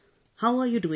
Namaste Sir